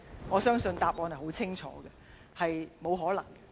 我相信答案很清楚，這並不可能。